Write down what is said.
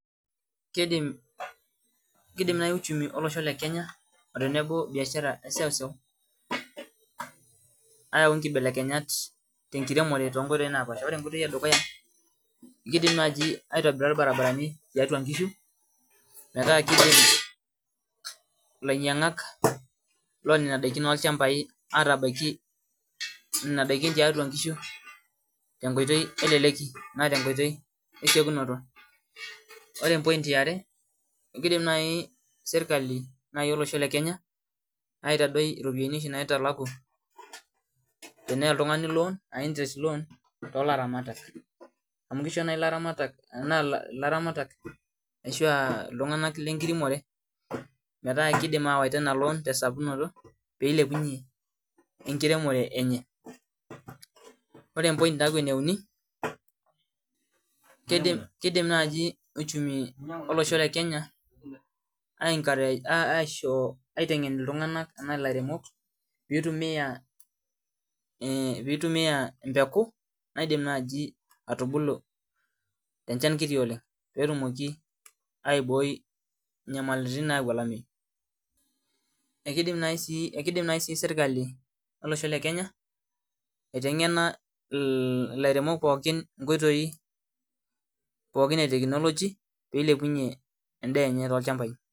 Kidim, kidim naai uchumi olosho le kenya otenebo biashara eseuseu ayau inkibelekenyat tenkiremore tonkoitoi napaasha ore enkoitoi edukuya kidim naaji aitobira irbaribarani tiatua inkishu metaa kidim ilainying'ak lonena daikin olchambai atabaiki nena daikin tiatua inkishu tenkoitoi eleleki naa tenkoitoi esiokinoto ore em point aiare ekidim naai serkali naai olosho le kenya aitadoi iropiani oshi naitalaku teneya oltung'ani loan uh interest loan tolaramatak amu kisho naai ilaramatak anaa ilaramatak ashua iltung'anak lenkiremore metaa kidim awaita ina loan tesapunoto peilepunyie enkiremore enye ore em point naaku eneuni kidim kidim naaji uchumi olosho le kenya ae enkareja aishoo aiteng'en iltung'anak anaa ilairemok pitumia eh pitumia empeku naidim naaji atubulu tenchan kiti oleng petumoki aiboi inyamalitin nayau olamei ekidim naai sii sirkali olosho le kenya aiteng'ena il ilairemok pookin inkoitoi pookin e technology pilepunyie endaa enye tolchambai.